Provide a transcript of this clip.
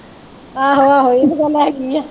ਆਹੋ ਆਹੋ ਇਹ ਤੇ ਗੱਲ ਹੈਗੀ ਹੈ